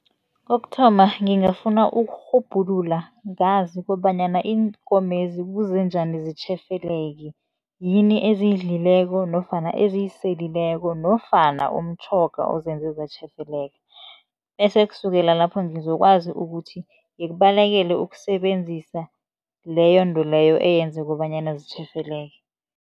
Kokuthoma ngingafuna ukurhubhulula ngazi kobanyana iinkomezi kuze njani zitjhefeleke, yini eziyidlileko nofana eziyiselileko nofana umtjhoga ozenze zatjhefeleka. Bese kusukela lapho ngizokwazi ukuthi ngikubalekele ukusebenzisa leyo nto leyo eyenza kobanyana zitjhefeleke.